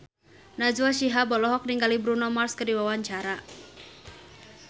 Najwa Shihab olohok ningali Bruno Mars keur diwawancara